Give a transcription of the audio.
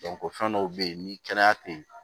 fɛn dɔw bɛ yen ni kɛnɛya tɛ yen